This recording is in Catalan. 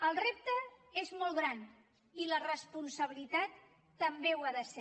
el repte és molt gran i la responsabilitat també ho ha de ser